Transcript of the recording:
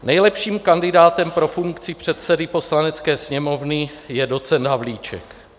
Nejlepším kandidátem pro funkci předsedy Poslanecké sněmovny je docent Havlíček.